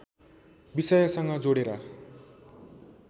विषयसँग जोडेर